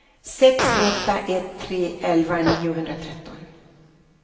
sex åtta ett tre elva niohundratretton